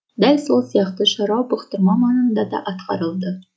дәл сол сияқты шаруа бұқтырма маңында да атқарылды